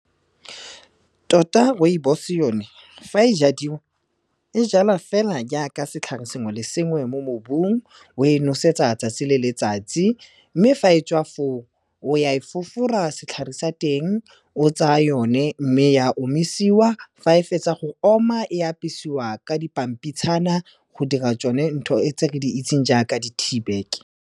Tota rooibos-e yone, fa e jadiwa e jalwa fela jaaka setlhare sengwe le sengwe mo mobung, o e nosetsa 'tsatsi le letsatsi. Mme fa e tswa foo o ya e fofora setlhare sa teng, o tsaya yone mme ya omisiwa, fa e fetsa go oma, e apesiwa ka dipampitshana go dira tsone ntho e tse re di itseng jaaka di-teabag-ke.